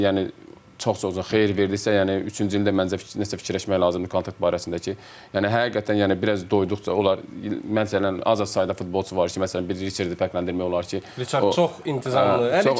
İki il yəni çox-çox uzun xeyir verdirsə, yəni üçüncü ildə məncə nə isə fikirləşmək lazımdır kontrakt barəsində ki, yəni həqiqətən yəni biraz doyduqca onlar məsələn az sayda futbolçu var ki, məsələn biri Ricardı fərqləndirmək olar ki, Ricard çox intizamlıdır.